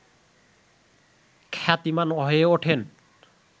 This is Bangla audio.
খ্যাতিমান হয়ে ওঠেন